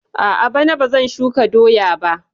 A'a, bana bazan shuka doya ba